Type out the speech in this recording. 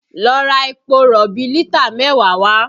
Lọ ra epo rọ̀bì lítà mẹ́wàá wá!